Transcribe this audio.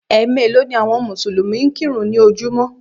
Ẹ̀ meèló ni àwọn Mùsùlùmí ń kírun ní ojúmọ́